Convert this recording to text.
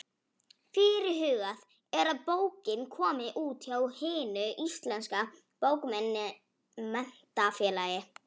Fyrirhugað er að bókin komi út hjá Hinu íslenska bókmenntafélagi.